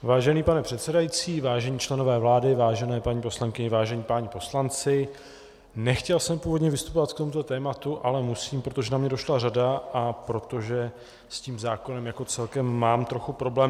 Vážený pane předsedající, vážení členové vlády, vážené paní poslankyně, vážení páni poslanci, nechtěl jsem původně vystupovat k tomuto tématu, ale musím, protože na mě došla řada a protože s tím zákonem jako celkem mám trochu problém.